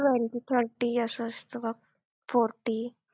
twenty thirty असं असतं बघ fourty